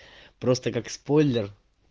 просто как спойлер